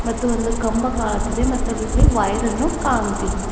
ಮತ್ತು ಒಂದು ಕಂಬ ಕಾಣುತ್ತಿದೆ ಮತಲ್ಲಲ್ಲಿ ವೈರ್ ಅನ್ನು ಕಾಣುತ್ತಿದೆ.